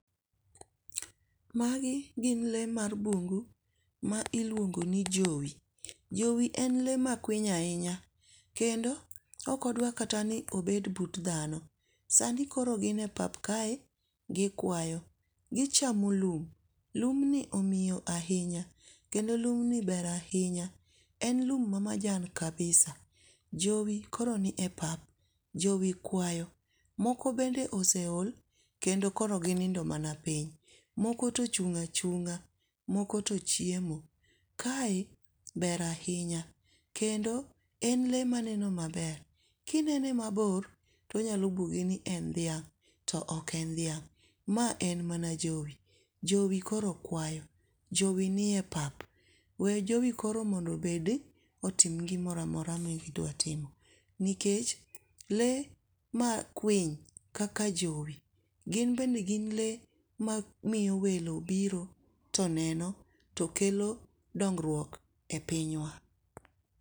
Magi gin lee mar bung'u ma iluongo ni jowi, jowi en lee makwiny ahinya, kendo okodwa kata ni obet but dhano, sani koro gin e pap kae gikwayo, gichamo lum , lumni omiyo ahinya kendo lumni ber ahinya, en lum mamajan kabisa. Jowi koro nie pap jowi kwayo, moko bende koro oseol kendo koro ginindo mana piny, moko to ochung' achung'a moko to chyemo, kae ber ahinya kendo en le maneno maber, kinene mabor to onyalo bwogi ni en dhiang' to ok en dhiang' ma en mana jowi, jowi koro kwayo jowi nie pap, we jowi koro mondo obed otim gimoro amora ma gidwa timo nikech le ma kwiny kaka jowi gin bende gin le mamiyo welo biro to neno to kelo dong'ruok e pinywa.